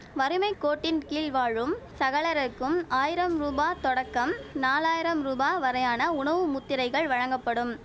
வறிமை கோட்டின் கீழ் வாழும் சகலருக்கும் ஆயிரம் ரூபா தொடக்கம் நாலயிரம் ரூபா வரையான உணவு முத்திரைகள் வழங்கப்படும்